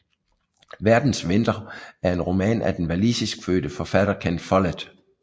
Verdens vinter er en roman af den walisiskfødte forfatter Ken Follett